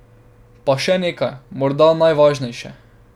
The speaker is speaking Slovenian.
Pa še nekaj, morda najvažnejše.